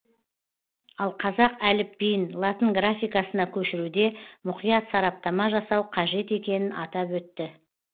ал қазақ әліпбиін латынграфикасына көшіруде мұқият сараптама жасау қажет екенін атап өтті